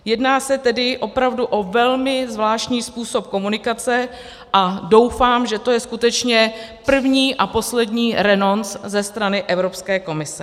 Jedná se tedy opravdu o velmi zvláštní způsob komunikace a doufám, že to je skutečně první a poslední renonc ze strany Evropské komise.